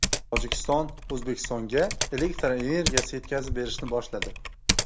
Tojikiston O‘zbekistonga elektr energiyasi yetkazib berishni boshladi.